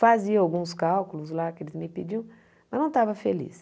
Fazia alguns cálculos lá que eles me pediam, mas não estava feliz.